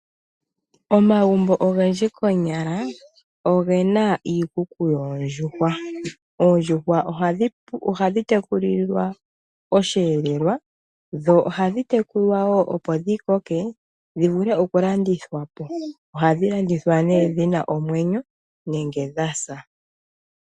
Omagumbo ogendji konyala oyena iikuku yoondjuhwa. Oondjuhwa ohadhi tekulilwa osheelelwa dho ohadhi tekulwa woo opo dhikoke dhivule okulandithwapo. Ohadhi landithwapo nee dhina omwenyo nenge dhasa.